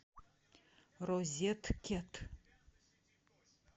розеткед